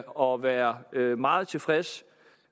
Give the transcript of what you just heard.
og være meget tilfreds